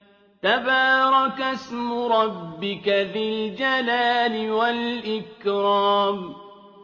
تَبَارَكَ اسْمُ رَبِّكَ ذِي الْجَلَالِ وَالْإِكْرَامِ